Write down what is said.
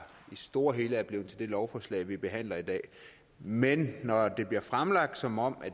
det store hele er blevet til det lovforslag vi behandler i dag men når det bliver fremlagt som om